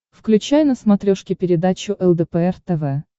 включай на смотрешке передачу лдпр тв